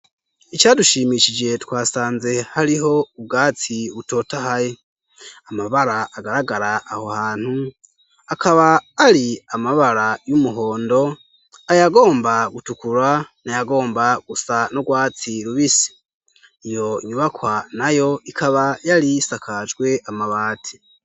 Icadushimishije twasanze hariho ubwatsi butotahaye, amabara agaragara aho hantu akaba ari amabara y'umuhondo, ayagomba gutukura n'ayagomba gusa n'urwatsi rubisi iyo nyubakwa nayo ikaba yarisakajwe amabati.